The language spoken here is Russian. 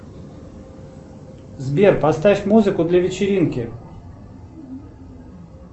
сбер поставь музыку для вечеринки